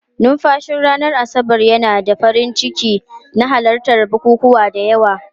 Numfashin ranar Asabar yana haifar da farin ciki na halartar bukukuwa da yawa.